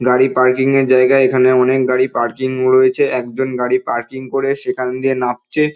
গাড়ি পার্কিং এর জায়গা এখানে অনেক গাড়ি পার্কিং রয়েছে। একজন গাড়ি পার্কিং করে সেখানে দিয়ে নামছে।